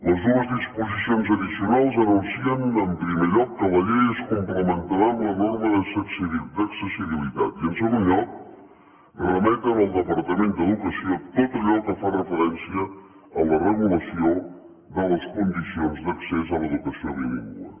les dues disposicions addicionals anuncien en primer lloc que la llei es complementarà amb la norma d’accessibilitat i en segon lloc remeten al departament d’educació tot allò que fa referència a la regulació de les condicions d’accés a l’educació bilingüe